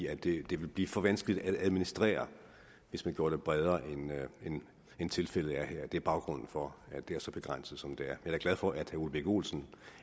at det vil blive for vanskeligt at administrere hvis man gjorde det bredere end tilfældet er her det er baggrunden for at det er så begrænset som det er da glad for at herre ole birk olesen